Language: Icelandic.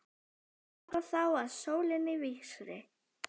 Ganga þá að sólinni vísri.